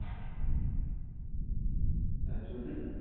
তার জন্যেই